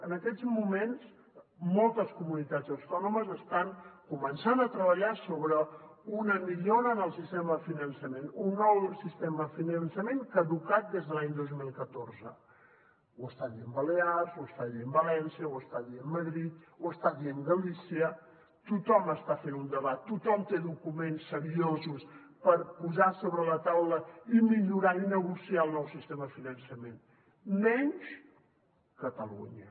en aquests moments moltes comunitats autònomes estan començant a treballar sobre una millora en el sistema de finançament un nou sistema de finançament caducat des de l’any dos mil catorze ho està dient balears ho està dient valència ho està dient madrid ho està dient galícia tothom està fent un debat tothom té documents seriosos per posar sobre la taula i millorar i negociar el nou sistema de finançament menys catalunya